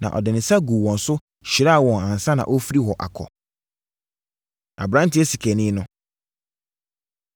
Na ɔde ne nsa guu wɔn so, hyiraa wɔn ansa na ɔrefiri hɔ akɔ. Aberanteɛ Sikani No